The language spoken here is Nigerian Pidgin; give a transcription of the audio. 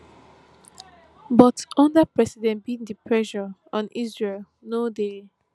but under president biden pressure on israel no dey